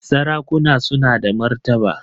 Sarakuna suna da martaba